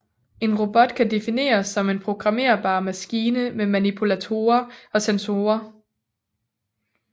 En robot kan defineres som en programmérbar maskine med manipulatorer og sensorer